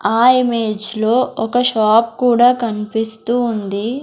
ఆ ఇమేజ్ లో ఒక షాప్ కూడా కన్పిస్తూ ఉంది.